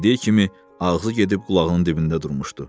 Öz dediyi kimi, ağzı gedib qulağının dibində durmuşdu.